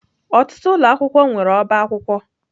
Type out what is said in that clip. Ọtụtụ ụlọ akwụkwọ nwere ọbá akwụkwọ.